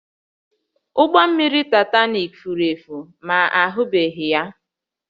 Ụgbọ mmiri Titanik furu efu ma ahụbeghị ya